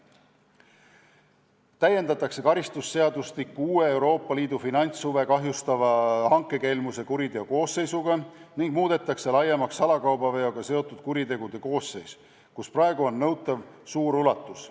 Lisaks täiendatakse karistusseadustikku uue kuriteokoosseisuga, Euroopa Liidu finantshuve kahjustava hankekelmusega, ning muudetakse laiemaks salakaubaveoga seotud kuritegude koosseis, mille korral praegu on nõutav kauba suur kogus.